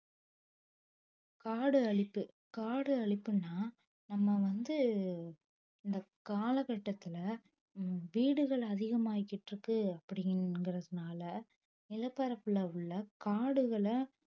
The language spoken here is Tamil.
காடு அழிப்பு காடு அழிப்புன்னா நம்ம வந்து இந்த காலகட்டத்துல வீடுகள் அதிகமாயிகிட்டிருக்கு அப்படிங்கிறதுனால நிலப்பரப்புல உள்ள காடுகளை